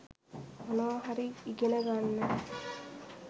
මොනවා හරි ඉගෙන ගන්න